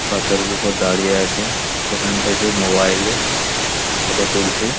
পাথরের উপর দাঁড়িয়ে আছে সেখান থেকে মোবাইল -এ ফটো তুলছে।